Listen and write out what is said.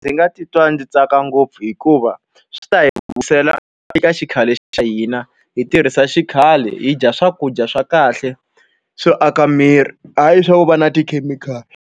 Ndzi nga titwa ndzi tsaka ngopfu hikuva, swi ta hi vuyisela eka xikhale xa hina. Hi tirhisa xikhale, hi dya swakudya swa kahle swo aka miri, hayi swa ku va na tikhemikhali.